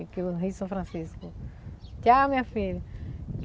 É que o Rio São Francisco... Tchau, minha filha!